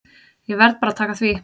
Ég verð bara að taka því.